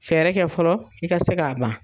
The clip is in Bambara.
Fɛɛrɛ kɛ fɔlɔ i ka se k'a ban.